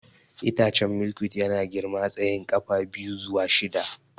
Itacen Milkweed yana girma tsayin ƙafa biyu zuwa shida.